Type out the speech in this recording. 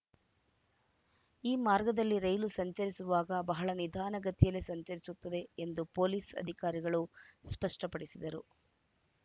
ಈ ಮಾರ್ಗದಲ್ಲಿ ರೈಲು ಸಂಚರಿಸುವಾಗ ಬಹಳ ನಿಧಾನ ಗತಿಯಲ್ಲೇ ಸಂಚರಿಸುತ್ತದೆ ಎಂದು ಪೊಲೀಸ್‌ ಅಧಿಕಾರಿಗಳು ಸ್ಪಷ್ಟಪಡಿಸಿದರು